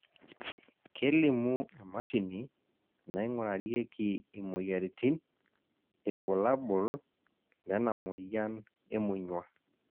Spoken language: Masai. kelimu emashini naingurarieki imoyiaritin irbulabol lena moyian emonyua